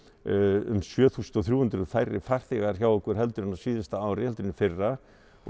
um sjö þúsund þrjú hundruð færri farþegar hjá okkur heldur en á síðasta ári heldur en í fyrra